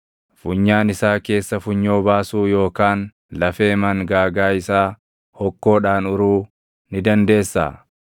Funyaan isaa keessa funyoo baasuu yookaan lafee mangaagaa isaa hokkoodhaan uruu ni dandeessaa?